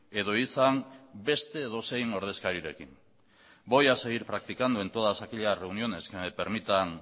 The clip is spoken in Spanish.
edo izan beste edozein ordezkarirekin voy a seguir practicando en todas aquellas reuniones que me permitan